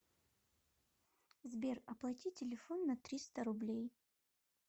сбер оплати телефон на триста рублей